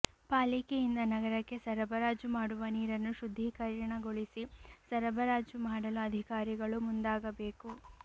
ಪಾಲಿಕೆಯಿಂದ ನಗರಕ್ಕೆ ಸರಬರಾಜು ಮಾಡುವ ನೀರನ್ನು ಶುದ್ಧೀಕರಣಗೊಳಿಸಿ ಸರಬರಾಜು ಮಾಡಲು ಅಧಿಕಾರಿಗಳು ಮುಂದಾಗಬೇಕು